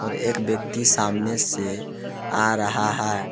और एक व्यक्ति सामने से आ रहा है।